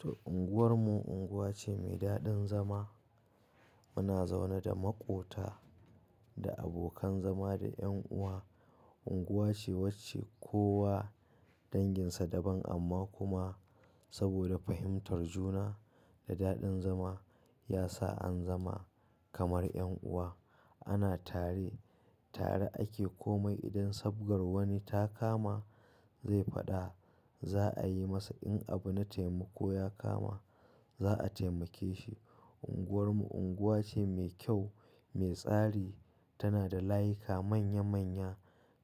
To, unguwarmu unguwa ce mai daɗin zama. Muna zaune da maƙota, da abokan zama da ƴan uwa. Unguwa ce wacce kowa danginsa daban amma kuma saboda fahimtar juna da daɗin zama, ya sa an zama kamar ƴan uwa. Ana tare, tare ake komai. Idan sabgar wani ta kama zai faɗa, za'a yi masa. In abu na taimako ya kama, za'a taimake shi. Unguwarmu unguwa ce mai kyau, mai tsari, tana da layika manya manya,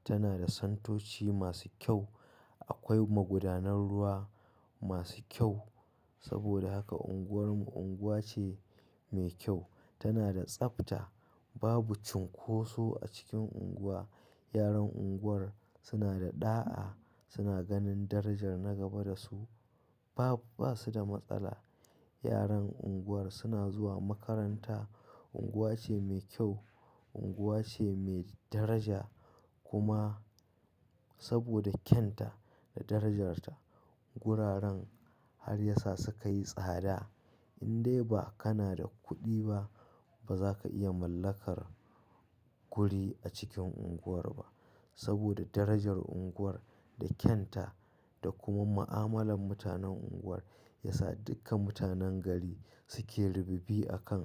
tana da santoci masu kyau. Akwai magudanar ruwa masu kyau. Saboda haka unguwarmu unguwa ce mai kyau. Tana da tsabta. Babu cunkoso a cikin unguwa. Yaran unguwar suna da ɗa'a, suna ganin darajar na gaba da su, ba, ba su da matsala. Yaran unguwar suna zuwa makaranta. Unguwa ce mai kyau, unguwa ce mai daraja kuma saboda kyan ta da darajarta, guraren har ya sa su ka yi tsada. Indai ba kana da kuɗi ba, ba za ka iya mallakar guri a cikin unguwar ba. Saboda darajar unguwar da kyan ta da kuma ma'amalan mutanen unguwar, ya sa duka mutanen gari suke rububi akan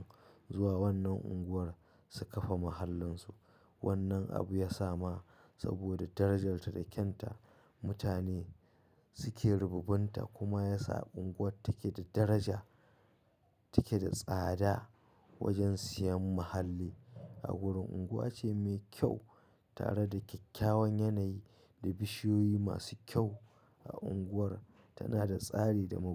zuwa wannan unguwar su kafa mahallinsu. Wannan abu ya sa ma saboda darajarta da kyan ta. Mutane suke rububunta kuma ya sa unguwar take da daraja, take da tsada wajen siyan muhalli a gurin. Unguwa ce mai kyau tare da kyakkyawan yanayi da bishiyoyi masu kyau a unguwar. Tana da tsari da magudanar-